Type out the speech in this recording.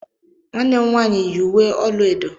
Nwanne nwaanyị m yi uwe elu edo.